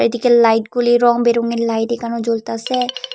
এইদিকে লাইট গুলি রংবেরঙের লাইট এইখানেও জ্বলতাসে।